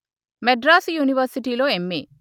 మద్రాసు యూనివర్శిటీలో ఎంఏ